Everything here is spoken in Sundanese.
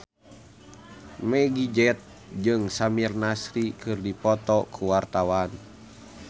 Meggie Z jeung Samir Nasri keur dipoto ku wartawan